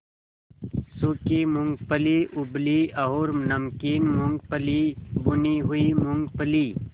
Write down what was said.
सूखी मूँगफली उबली और नमकीन मूँगफली भुनी हुई मूँगफली